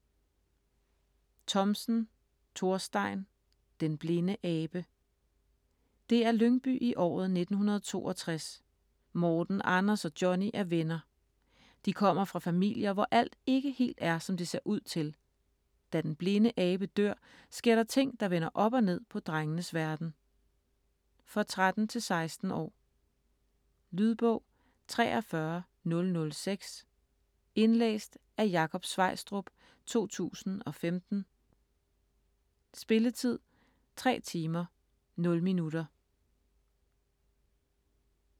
Thomsen, Thorstein: Den blinde abe Det er Lyngby i året 1962. Morten, Anders og Johnny er venner. De kommer fra familier, hvor alt ikke helt er, som det ser ud til. Da den blinde abe dør, sker der ting, der vender op og ned på drengenes verden. For 13-16 år. Lydbog 43006 Indlæst af Jakob Sveistrup, 2015. Spilletid: 3 timer, 0 minutter.